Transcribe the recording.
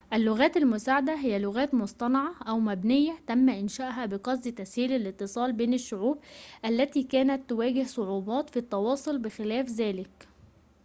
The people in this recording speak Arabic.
اللغات المساعدة هي لغات مصطنعة أو مبنية تم إنشاؤها بقصد تسهيل الاتصال بين الشعوب التي كانت تواجه صعوبات في التواصل بخلاف ذلك